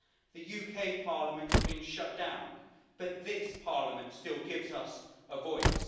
The UK Parliament has been shut down, but this Parliament still gives us a voice.